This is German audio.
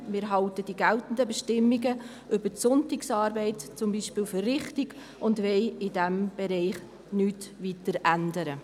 Wir halten die geltenden Bestimmungen über die Sonntagsarbeit zum Beispiel für richtig und wollen in diesem Bereich nichts weiter ändern.